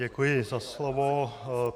Děkuji za slovo.